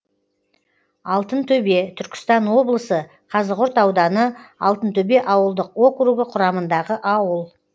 алтынтөбе түркістан облысы қазығұрт ауданы алтынтөбе ауылдық округі құрамындағы ауыл